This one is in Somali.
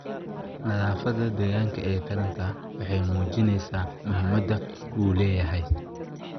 Nadaafadda deegaanka ee taranta waxay muujinaysaa muhiimadda uu leeyahay.